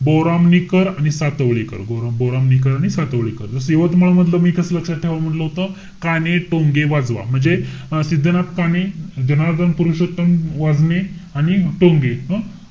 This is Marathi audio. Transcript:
बोरामणीकर आणि सातवळीकर. बोरामणीकर आणि सातवळीकर. जस यवतमाळ मधलं मी कस लक्षात ठेवा म्हंटल होतं. काणे, टोंगे, वाजवा. म्हणजे सिद्धनाथ काणे, जनार्दन पुरोशत्तम वाजने आणि टोंगे. अं?